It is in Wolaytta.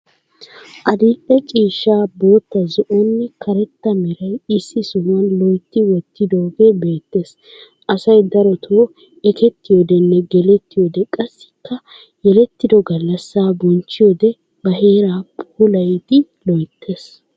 Adil"e ciishsha, bootta, zo"onne karetta meray issi sohuwan loytti wottidoogee beettees. Asay darotoo ekettiyoodenne gelettiyoode qassikka yelettido gallassaa bonchchiyode ba heeraa puulayidi loyttees.